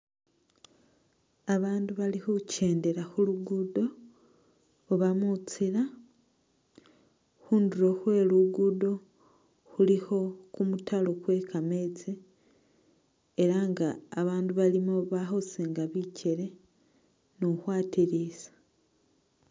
Babandu bali khukyendela khulugudo oba mutsila ,khundulo khwe lugudo khulikho kumutalo kwe kametsi ,ela nga babandu balimo bali khusinga bikyele ni ukhwatilisa